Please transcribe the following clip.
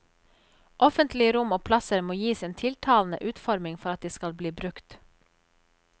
Offentlige rom og plasser må gis en tiltalende utforming for at de skal bli brukt.